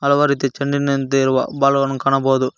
ಹಲವಾರು ರೀತಿ ಚಂಡಿನಂತೆ ಇರುವ ಬಾಲ್ ಗಳನ್ನು ಕಾಣಬೋದು.